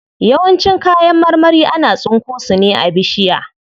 Yawancin kayan marmari ana tsinko su ne a bishiya.